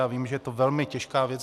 Já vím, že je to velmi těžká věc.